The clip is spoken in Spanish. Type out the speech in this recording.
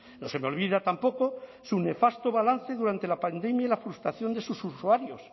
no se me olvida tampoco su nefasto balance durante la pandemia y frustración de sus usuarios